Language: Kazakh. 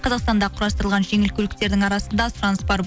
қазақстанда құрастырылған жеңіл көліктердің арасында сұраныс бар